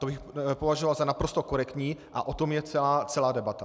To bych považoval za naprosto korektní a o tom je celá debata.